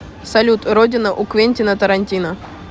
салют родина у квентина тарантино